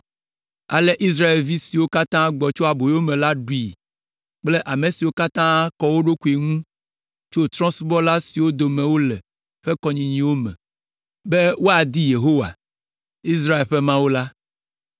Ale Israelvi siwo katã gbɔ tso aboyome la ɖui kple ame siwo katã kɔ wo ɖokuiwo ŋu tso trɔ̃subɔla siwo dome wole ƒe kɔnyinyiwo me, be woadi Yehowa, Israel ƒe Mawu la.